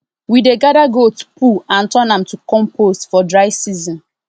we dey gather goat poo and turn am to compost for dry season